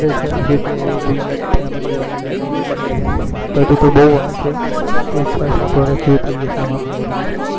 જ્યોતિ હવે જોઈએ family વાળા જયારે કે ત્યારે હાલ તો હજુ તો બહુ વાર છે છ સાત વર્ષ જેવા થઇ જશે અમાર marriage ને